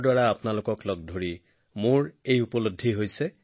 আমাৰ ইয়াত আছে ১০৮ সংখ্যাটোৰ তাৎপৰ্য্য ইয়াৰ পবিত্ৰতা গভীৰ অধ্যয়নৰ বিষয়